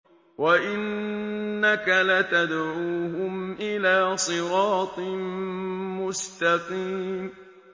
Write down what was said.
وَإِنَّكَ لَتَدْعُوهُمْ إِلَىٰ صِرَاطٍ مُّسْتَقِيمٍ